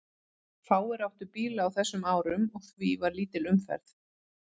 Fáir áttu bíla á þessum árum og því var lítil umferð.